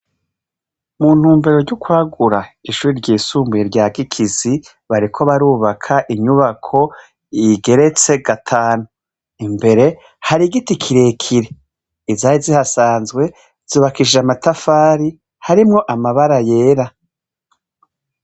Muntumbero ry'ukwagura ishure ry'Isumbuye rya Gikizi, bariko barubaka inyubako, igeretse gatanu. Imbere hari igiti kirekire, izari zihasanzwe zubakishijwe amatafari harimwo amabara yera.